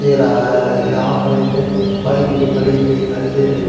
दे रहा है यहां पर एक बाइक भी खड़ी हुई दिखाई दे रही--